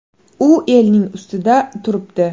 U elning ustida turibdi.